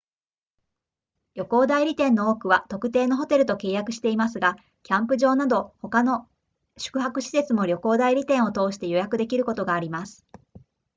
旅行代理店の多くは特定のホテルと契約していますがキャンプ場など他の宿泊施設も旅行代理店を通して予約できることがあります